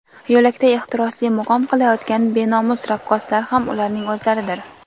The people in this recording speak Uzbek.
yo‘lakda ehtirosli muqom qilayotgan benomus raqqoslar ham ularning o‘zlaridir.